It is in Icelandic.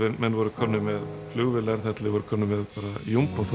menn voru komnir með flugvélar þar til þeir voru komnir með